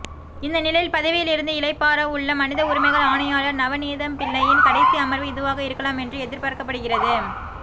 இந்தநிலையில் பதவியில் இருந்து இளைப்பாறவுள்ள மனித உரிமைகள் ஆணையாளர் நவநீதம்பிள்ளையின் கடைசி அமர்வு இதுவாக இருக்கலாம் என்று எதிர்ப்பார்க்கப்படுகிறது